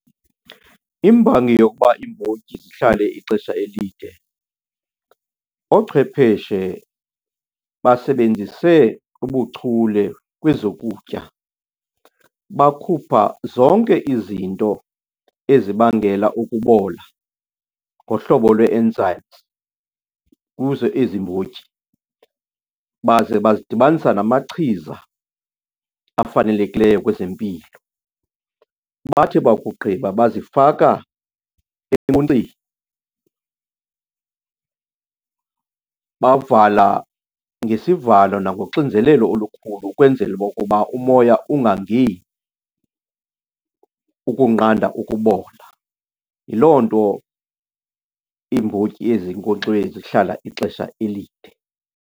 Imbangi yokuba iimbotyi zihlale ixesha elide, oochwepheshe basebenzise ubuchule kwezokutya bakhupha zonke izinto ezibangela ukubola ngohlobo lwee-enzymes kuzo ezi mbotyi baze bazidibanisa namachiza afanelekileyo kwezempilo. Bathi bakugqiba bazifaka bavala ngesivalo nangoxinzelelo olukhulu ukwenzela okokuba umoya ungangeni, ukunqanda ukubola. Yiloo nto iimbotyi ezinkonkxiweyo zihlala ixesha elide.